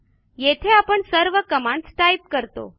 येथे आपण सर्व कमांडस टाईप करतो